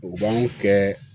U b'an kɛ